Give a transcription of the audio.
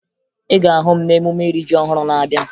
Ị ga-ahụ m n'emume iri ji ọhụrụ na-abịa